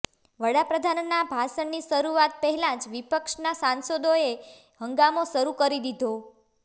વડાપ્રધાનના ભાષણની શરૂઆત પહેલાજ વિપક્ષના સાંસદોએ હંગામો શરૂ કરી દીધો